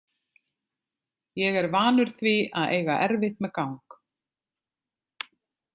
Ég er vanur því að eiga erfitt með gang.